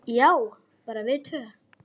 Já, bara við tvö.